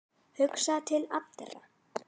Hugsa til allra.